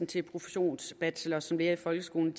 til professionsbachelor som lærer i folkeskolen